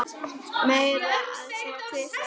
Meira að segja tvisvar